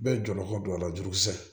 Bɛɛ jɔyɔrɔ ka don a la jurukisɛ